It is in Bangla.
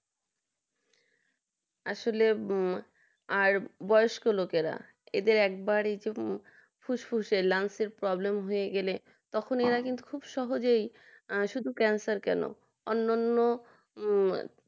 আসলে আর বয়স্ক লোকেরা এদের একবারই ফুসফুসে বা ল্যান্স problem হয়ে গেলে তখন তো কিন্তু এরা সহজে শুধু ক্যান্সার কেন অন্যান্য হম